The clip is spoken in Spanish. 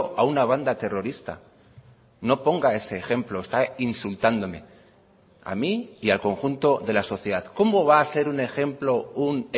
a una banda terrorista no ponga ese ejemplo está insultándome a mí y al conjunto de la sociedad cómo va a ser un ejemplo un